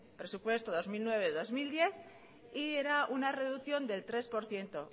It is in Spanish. presupuesto dos mil nueve dos mil diez y era una reducción del tres por ciento